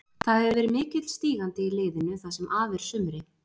Það hefur verið mikill stígandi í liðinu það sem af er af sumri.